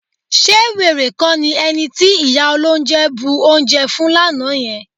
Ṣé wèrè kọ́ ni ẹni tí ìyá olóunjẹ bu oúnjẹ fún lánàá yẹn?